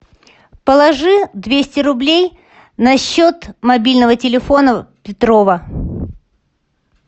положи двести рублей на счет мобильного телефона петрова